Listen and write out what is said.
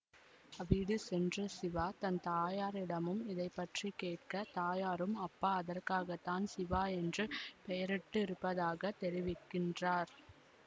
வீடு சென்ற சிவா தன் தாயாரிடமும் இதைபற்றிக் கேட்டக தாயாரும் அப்பா அதற்காகத்தான் சிவா என்று பெயரிட்டுருப்பதாகத் தெரிவிக்கின்றார்